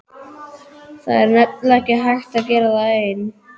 Það er nefnilega ekki hægt að gera það einn.